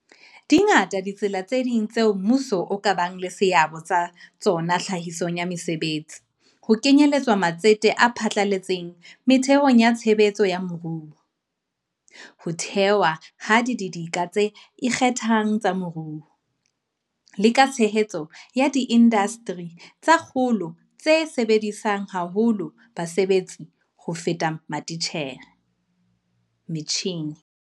Dingata ditsela tse ding tseo mmuso o ka bang le seabo ka tsona tlhahisong ya mesebetsi, ho kenyeletswa matsete a phatlaletseng metheong ya tshebetso ya moruo, ho thewa ha didika tse ikgethang tsa moruo, le ka tshehetso ya diindasteri tsa kgolo tse sebedisang haholo basebetsi ho feta metjhine.